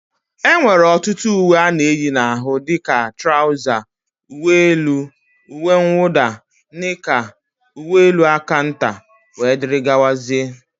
E nwere ọtụtụ ùwé ana eyi n'ahụ dịka: trauza, ùwé élú, ùwé mwuda, nika, ùwé élú aka ntà wdg.